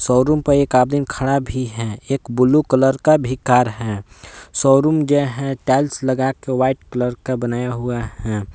Showroom पर एक आदमी खड़ा भी है एक ब्ल्यू कलर का भी कार है शोरूम जो है टाइल्स लगा के व्हाइट कलर का बनाया हुआ हैं।